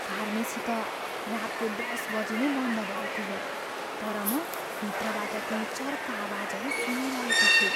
Pharmacy त रातको १० बजी नै बन्द भएको हो, तर म भित्रबाट केही चर्का आवाजहरू सुनिरहेको छु।